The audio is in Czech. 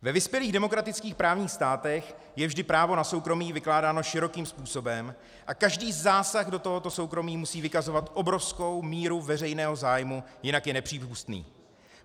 Ve vyspělých demokratických právních státech je vždy právo na soukromí vykládáno širokým způsobem a každý zásah do tohoto soukromí musí vykazovat obrovskou míru veřejného zájmu, jinak je nepřípustný.